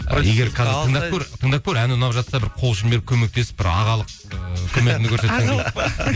тыңдап көр әні ұнап жатса бір қол ұшын беріп көмектесіп бір ағалық ыыы көмегіңді көрсетсең ағалық па